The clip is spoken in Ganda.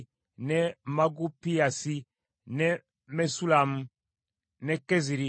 ne Magupiyasi, ne Mesullamu, ne Keziri,